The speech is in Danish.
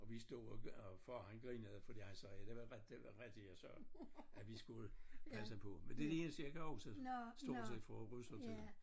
Og vi stod og far han grinede fordi han sagde det var det var rigtigt jeg sagde at vi skulle passe på men det det eneste jeg kan huske stort set fra russertiden